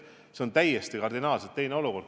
See on kardinaalselt teine olukord.